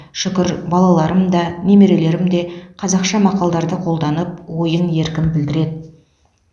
шүкір балаларым да немерелерім де қазақша мақалдарды қолданып ойын еркін білдіреді